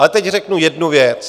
Ale teď řeknu jednu věc.